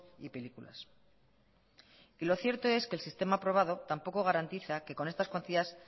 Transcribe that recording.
y películas lo cierto es que el sistema aprobado tampoco garantiza que con estas cuantías